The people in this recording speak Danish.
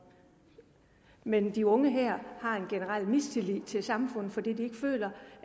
men de unge her har en generel mistillid til samfundet fordi de føler